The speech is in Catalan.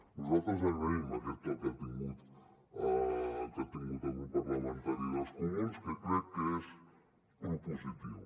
nosaltres agraïm aquest to que ha tingut el grup parlamentari dels comuns que crec que és propositiu